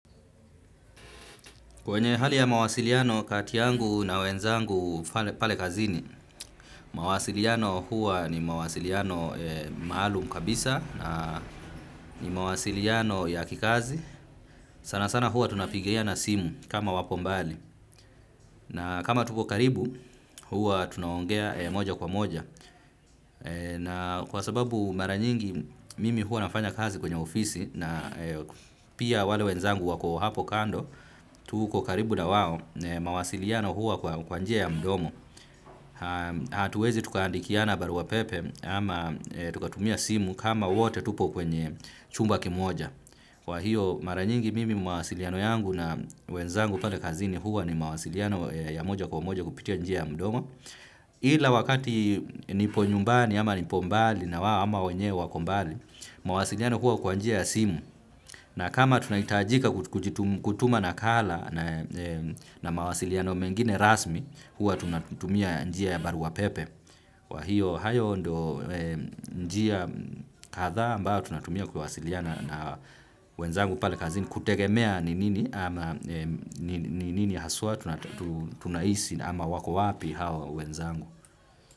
Kwenye hali ya mawasiliano kati yangu na wenzangu pale kazini, mawasiliano huwa ni mawasiliano maalum kabisa na ni mawasiliano ya kikazi. Sana sana huwa tunapigiana simu kama wapo mbali na kama tuko karibu, huwa tunaongea moja kwa moja. Na kwa sababu mara nyingi mimi huwa nafanya kazi kwenye ofisi na pia wale wenzangu wako hapo kando, tuko karibu na wao, mawasiliano huwa kwa njia ya mdomo. Hatuwezi tukaandikiana barua pepe ama tukatumia simu kama wote tupo kwenye chumba kimoja. Kwa hiyo mara nyingi mimi mawasiliano yangu na wenzangu pale kazini huwa ni mawasiliano ya moja kwa moja kupitia njia ya mdomo. Ila wakati nipo nyumbani ama nipo mbali na wao ama wenye we wako mbali, mawasiliano huwa kwa njia ya simu, na kama tunahitajika kutuma nakala na mawasiliano mengine rasmi huwa tunatumia njia ya barua pepe. Kwa hiyo hayo ndio njia kadhaa ambayo tunatumia kuwasiliana na wenzangu pale kazini kutegemea ni nini nini haswa tunahisi ama wako wapi hawa wenzangu.